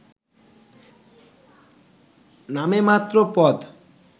নামেমাত্র পদ